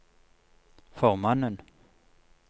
formannen